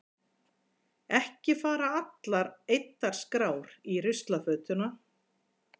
Ekki fara allar eyddar skrár í ruslafötuna.